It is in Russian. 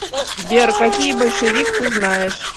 сбер какие большевик ты знаешь